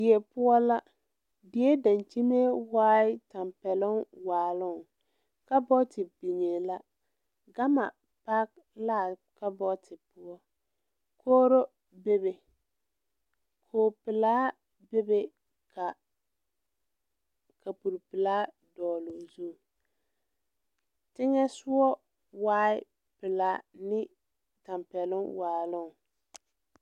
Die poɔ la die daŋkyime waai nyɛ tampɛloŋ waaloŋ kabɔɔte biŋee la gama paki laa kabɔɔte poɔ kogro bebe koge pelaa bebe ka kapure pelaa dɔɔloo zu teŋɛsugɔ waai pelaa ne tampɛloŋ waaloŋ.